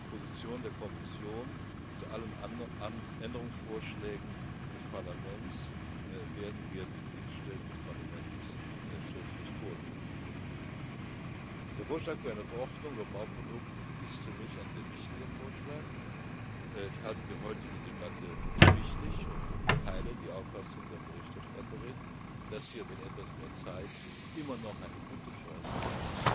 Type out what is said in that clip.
Die Position der Kommission zu allen anderen Änderungsvorschlägen des Parlaments werden wir den Dienststellen des Parlaments schriftlich vorlegen. Der Vorschlag für eine Verordnung über Bauprodukte ist für mich ein sehr wichtiger Vorschlag. Ich halte die heutige Debatte für wichtig und teile die Auffassung der Berichterstatterin, dass wir mit etwas mehr Zeit immer noch eine gute Chance